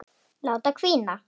Láta hvína.